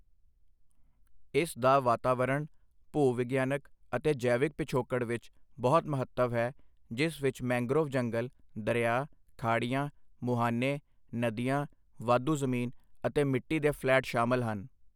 ਇਸ ਦਾ ਵਾਤਾਵਰਣ, ਭੂ ਵਿਗਿਆਨਕ ਅਤੇ ਜੈਵਿਕ ਪਿਛੋਕੜ ਵਿੱਚ ਬਹੁਤ ਮਹੱਤਵ ਹੈ ਜਿਸ ਵਿੱਚ ਮੈਂਗ੍ਰੋਵ ਜੰਗਲ, ਦਰਿਆ, ਖਾੜੀਆਂ, ਮੁਹਾਨੇ, ਨਦੀਆਂ, ਵਾਧੂ ਜ਼ਮੀਨ ਅਤੇ ਮਿੱਟੀ ਦੇ ਫਲੈਟ ਸ਼ਾਮਲ ਹਨ।